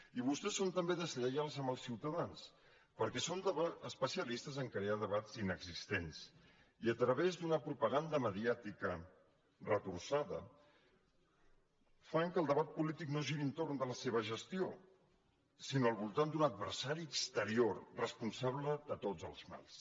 i vostès són també deslleials amb els ciutadans perquè són especialistes a crear debats inexistents i a través d’una propaganda mediàtica retorçada fan que el debat polític no giri entorn de la seva gestió sinó al voltant d’un adversari exterior responsable de tots els mals